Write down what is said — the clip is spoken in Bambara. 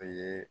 O ye